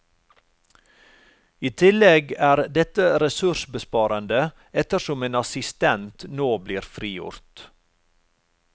I tillegg er dette ressursbesparende ettersom en assistent nå blir frigjort.